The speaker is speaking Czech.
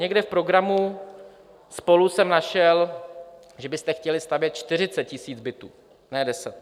Někde v programu SPOLU jsem našel, že byste chtěli stavět čtyřicet tisíc bytů, ne deset.